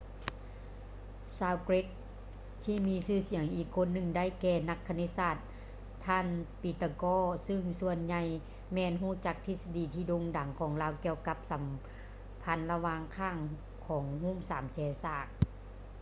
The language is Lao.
ຊາວເກຼັກ ທີ່ມີຊື່ສຽງອີກຄົນໜຶ່ງໄດ້ແກ່ນັກຄະນິດສາດ ທ່ານ ປີຕາກໍ pythagoras ຊຶ່ງສ່ວນໃຫຍ່ແມ່ນຮູ້ຈັກທິດສະດີທີ່ໂດ່ງດັງຂອງລາວກ່ຽວກັບຄວາມສຳພັນລະຫວ່າງຂ້າງຂອງຮູບສາມແຈສາກ